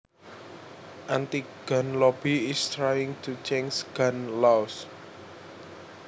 anti gun lobby is trying to change gun laws